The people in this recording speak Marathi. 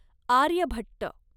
आर्यभट्ट